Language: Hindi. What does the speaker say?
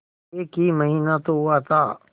एक ही महीना तो हुआ था